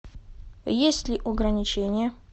есть ли ограничения